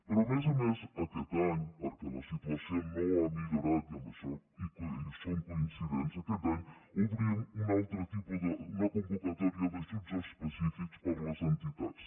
però a més a més aquest any perquè la situació no ha millorat i en això som coincidents aquest any obrim una convocatòria d’ajuts específics per a les entitats